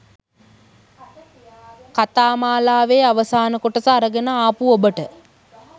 කතා මාලාවේ අවසාන කොටස අරගෙන ආපු ඔබට